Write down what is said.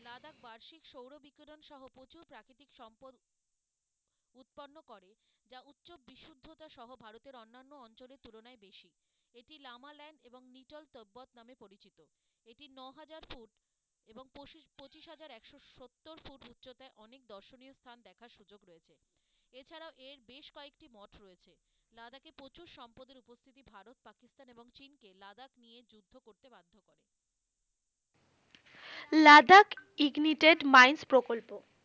Ladakh ignited mines প্রকল্প ,